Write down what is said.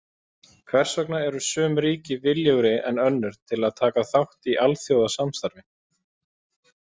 Hvers vegna eru sum ríki viljugri en önnur til að taka þátt í alþjóðasamstarfi?